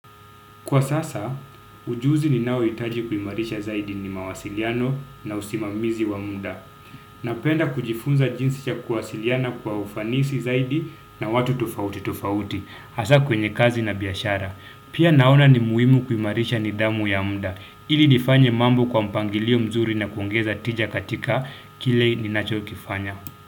Kwa sasa, ujuzi ni nao itaji kuimarisha zaidi ni mawasiliano na usimamizi wa muda. Napenda kujifunza jinsi cha kuwasiliana kwa ufanisi zaidi na watu tofauti tofauti, hasa kwenye kazi na biyashara. Pia naona ni muimu kuimarisha nidhamu ya muda, ili nifanye mambo kwa mpangilio mzuri na kuongeza tija katika kilei ni nacho kifanya.